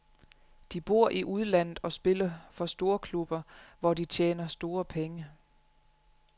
De bor i udlandet og spiller for storklubber, hvor de tjener store penge.